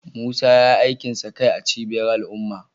Musa ya yi aikin sa kai a cibiyar al’umma